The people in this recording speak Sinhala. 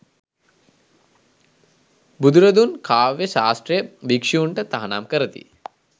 බුදුරදුන් කාව්‍ය ශාස්ත්‍රය භික්‍ෂූන්ට තහනම් කරති.